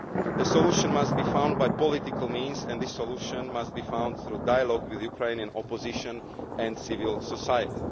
answer. The solution must be found by political means, and this solution must be found through dialogue with the Ukrainian opposition and civil